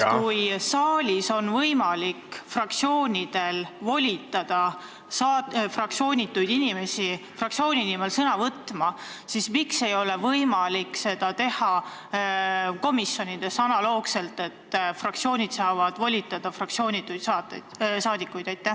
Kui saalis on võimalik fraktsioonidel volitada fraktsioonituid inimesi fraktsiooni nimel sõna võtma, siis miks ei ole analoogselt võimalik teha komisjonides, nii et fraktsioonid saaksid volitada fraktsioonituid saadikuid?